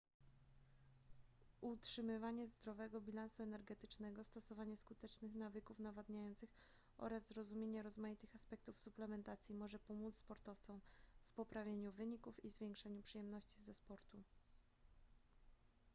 utrzymywanie zdrowego bilansu energetycznego stosowanie skutecznych nawyków nawadniających oraz zrozumienie rozmaitych aspektów suplementacji może pomóc sportowcom w poprawieniu wyników i zwiększeniu przyjemności ze sportu